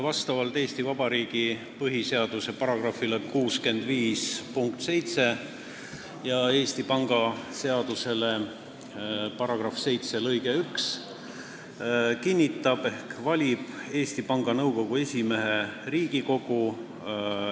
Vastavalt Eesti Vabariigi põhiseaduse § 65 punktile 7 ja Eesti Panga seaduse § 7 lõikele 1 kinnitab ehk valib Eesti Panga Nõukogu esimehe Riigikogu.